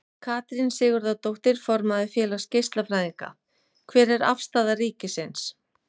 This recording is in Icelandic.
Katrín Sigurðardóttir, formaður Félags geislafræðinga: Hver er afstaða ríkisins?